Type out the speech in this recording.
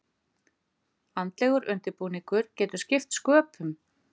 Andlegur undirbúningur getur skipt sköpum.